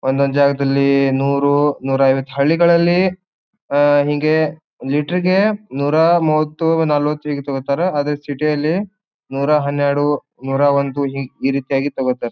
ಒಂದೊಂದು ಜಗದಲ್ಲಿ ನೂರು ನೂರೈವತ್ತು ಹಳ್ಳಿಗಳಲ್ಲಿ ಆ ಹಿಂಗೇ ಲಿಟರ ಇಗೆ ನೂರಾಮುವತ್ತು ನಲವತ್ತು ಹೀಗೆ ತಗೋತಾರೆ. ಆದರೆ ಸಿಟಿ ಯಲ್ಲಿ ನೂರಾ ಹನ್ನೆರಡು ನೂರಾ ಒಂದು ಹಿ ಈ ರೀತಿಯಾಗಿ ತಗೋತಾರೆ.